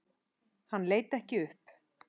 Hann leit ekki upp.